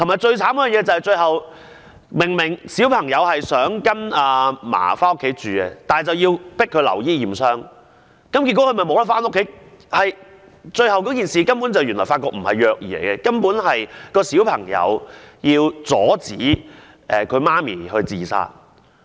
再者，最可憐的是，小朋友希望到祖母家中居住，但卻被要求留院驗傷，結果無法回家，最後卻發覺事情根本不是虐兒，而是小朋友想阻止母親自殺。